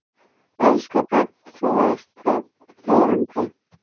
Elsku barn, þú ert þá lifandi.